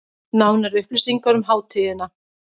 Nánari upplýsingar um hátíðina